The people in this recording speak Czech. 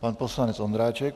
Pan poslanec Ondráček.